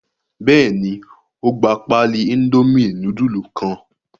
Bẹ́ẹ̀ ni, ó gba páálí Indomie núdúlù kan.